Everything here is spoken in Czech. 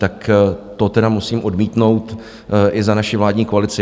Tak to tedy musím odmítnout i za naši vládní koalici.